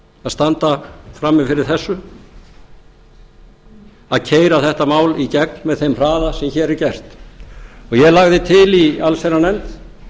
að standa frammi fyrir þessu að keyra þetta mál í gegn með þeim hraða sem hér er gert ég lagði til í allsherjarnefnd